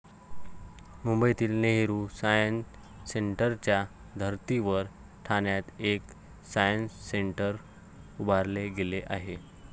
मुंबईतील नेहरू सायन्स सेंटरच्या धर्तीवर ठाण्यात एक सायन्स सेंटर उभारले गेले आहे.